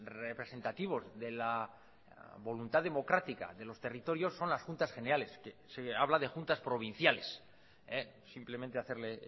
representativos de la voluntad democrática de los territorios son las juntas generales que se habla de juntas provinciales simplemente hacerle